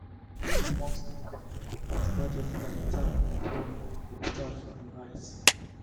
when you wan sleep comot gadgets like tab phone and computer from your eyes